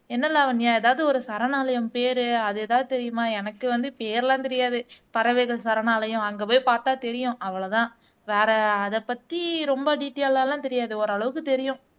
என்ன லாவண்யா ஏதாவது ஒரு சரணாலயம் பேரு, அது ஏதாவது தெரியுமா எனக்கு வந்து பேரெல்லாம் தெரியாது பறவைகள் சரணாலயம் அங்க போய் பார்த்தால் தெரியும் அவ்வளவுதான் வேற அதைப் பத்தி ரொம்ப டீடைல்லா எல்லாம் தெரியாது ஓரளவுக்கு தெரியும்